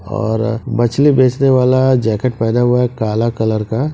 और मछली बेचने वाला जैकिट पहना हुआ है काला कलर का--